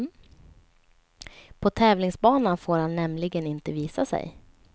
På tävlingsbanan får han nämligen inte visa sig.